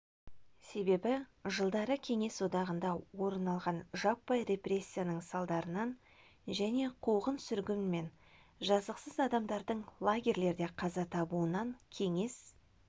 себебі жылдары кеңес одағында орын алған жаппай репрессияның салдарынан және қуғын-сүргін мен жазықсыз адамдардың лагерлерде қаза табуынан кеңес